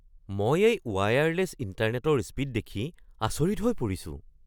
মই এই ৱায়াৰলেছ ইণ্টাৰনেটৰ স্পীড দেখি আচৰিত হৈ পৰিছো।